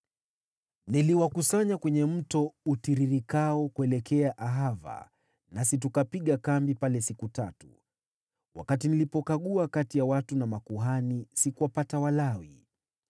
Niliwakusanya kwenye mto utiririkao kuelekea Ahava, nasi tukapiga kambi pale siku tatu. Wakati nilipokagua kati ya watu na makuhani, sikuwapata Walawi.